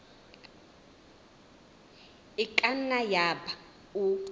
e ka nna yaba o